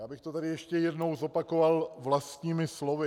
Já bych to tady ještě jednou zopakoval vlastními slovy.